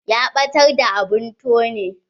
Ya ɓatar da abun tone.